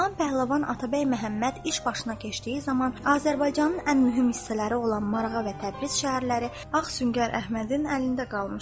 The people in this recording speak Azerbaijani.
Cahan Pəhləvan Atabəy Məhəmməd iş başına keçdiyi zaman Azərbaycanın ən mühüm hissələri olan Marağa və Təbriz şəhərləri Ağ Süngər Əhmədin əlində qalmışdı.